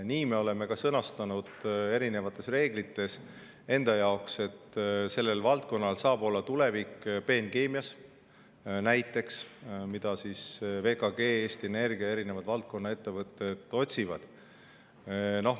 Nii me oleme sõnastanud enda jaoks ka erinevates reeglites, et sellel valdkonnal saab olla tulevik näiteks peenkeemias, mida VKG ja Eesti Energia, selle valdkonna erinevad ettevõtted otsivad.